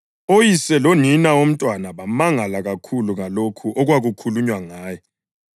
Oyise lonina womntwana bamangala kakhulu ngalokho okwakukhulunywa ngaye.